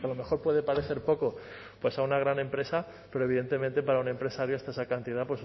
mejor puede parecer poco pues a una gran empresa pero evidentemente para un empresario esa cantidad